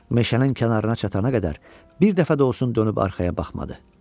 Meşənin kənarına çatana qədər bir dəfə də olsun dönüb arxaya baxmadı.